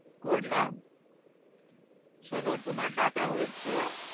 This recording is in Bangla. করলাম শোনো তোমার data হয়েছে।